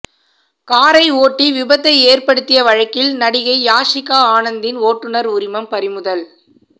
காரை ஓட்டி விபத்தை ஏற்படுத்திய வழக்கில் நடிகை யாஷிகா ஆனந்தின் ஓட்டுநர் உரிமம் பறிமுதல்